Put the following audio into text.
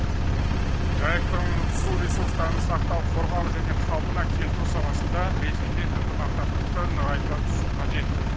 жайықтың су ресурстарын сақтау қорғау және қалпына келтіру саласында ресеймен ынтымақтастықты нығайта түсу қажет